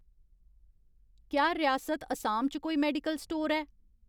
क्या रियासत असाम च कोई मेडिकल स्टोर ऐ ?